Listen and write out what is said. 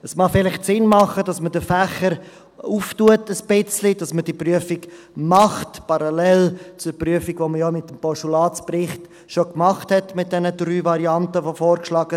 Es mag vielleicht Sinn machen, dass man den Fächer ein wenig öffnet, dass man die Prüfung macht, parallel zur Prüfung, die man ja mit dem Postulatsbericht mit diesen 3 vorgeschlagenen Varianten schon gemacht hat.